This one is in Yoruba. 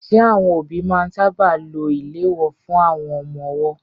Ṣé àwọn òbí máa ń sáábà lo ìléwọ́ fún àwọn ọmọ ọwọ́?